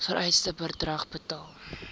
vereiste bedrag betaal